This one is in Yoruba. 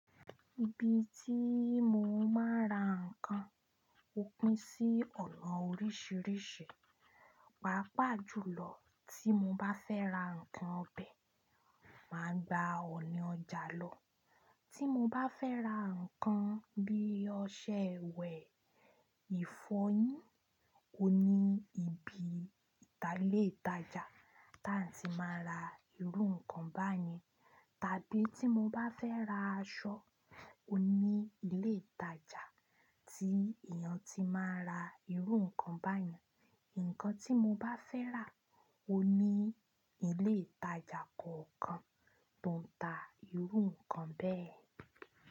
Ibi tí mo máa ń ra ǹkan ó pín sí ọ̀nà oríṣìíríṣìí. Pàápàá jùlọ tí mo bá fẹ́ ra ǹkan ọbẹ̀, mà á gba ọ̀ọ̀nì ọjà lọ. Tí mo bá fẹ́ ra ǹkan bí i ọṣẹ iwẹ̀, ìfọyín, ó ní ibi ìtà lè ìtajà tá ń ti máa ra irú ǹkan báyìí. Tàbí tí mo bá fẹ́ ra aṣọ, ó ní ilé ìtajà tí èèyàn ti máa ń ra irú ǹkan báyìí. Ǹkan tí mo bá fẹ́ rà ó ní ilé ìtajà kọ̀ọ̀kan tó ń ta irú ǹkan bẹ́ẹ̀.